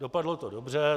Dopadlo to dobře.